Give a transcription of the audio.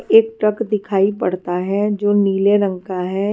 एक ट्रक दिखाई पड़ता है जो नीले रंग का है।